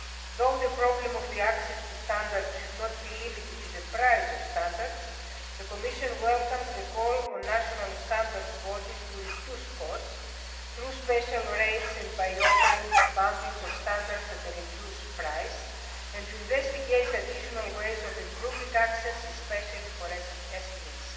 Though the problem of access to standards should not be limited to the price of standards, the Commission welcomes the call on national standards bodies to reduce costs through special rates, by offering bundles of standards at a reduced price, and by investigating additional ways of improving access, especially for